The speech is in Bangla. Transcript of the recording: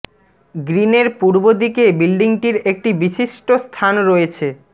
গ্রীন এর পূর্ব দিকে বিল্ডিংটির একটি বিশিষ্ট স্থান রয়েছে